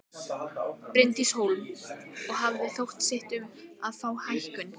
Bryndís Hólm: Og hafið þið sótt um að fá hækkun?